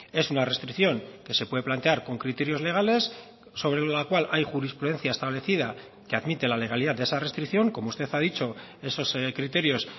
es una restricción que se puede plantear con criterios legales sobre la cual hay jurisprudencia establecida que admite la legalidad de esa restricción como usted ha dicho esos criterios